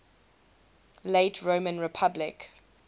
late roman republic